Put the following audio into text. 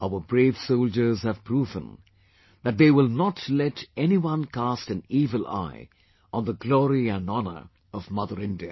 Our brave soldiers have proven that they will not let anyone cast an evil eye on the glory and honour of Mother India